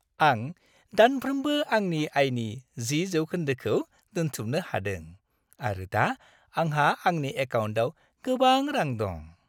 आं दानफ्रोमबो आंनि आयनि 10 जौखोन्दोखौ दोनथुमनो हादों आरो दा आंहा आंनि एकाउन्टाव गोबां रां दं।